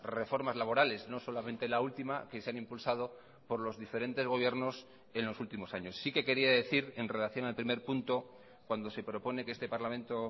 reformas laborales no solamente la última que se han impulsado por los diferentes gobiernos en los últimos años sí que quería decir en relación al primer punto cuando se propone que este parlamento